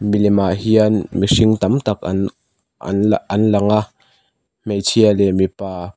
milem ah hian mihring tam tak an an an lang a hmeichhia leh mipa --